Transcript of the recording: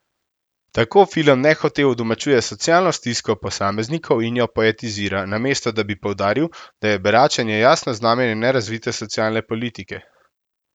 Tako film nehote udomačuje socialno stisko posameznikov in jo poetizira, namesto da bi poudaril, da je beračenje jasno znamenje nerazvite socialne politike.